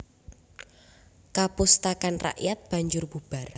Kapustakan rakyat banjur bubar